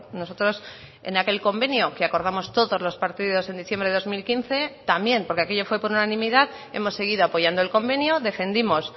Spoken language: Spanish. nosotros en aquel convenio que acordamos todos los partidos en diciembre de dos mil quince también porque aquello fue por unanimidad hemos seguido apoyando el convenio defendimos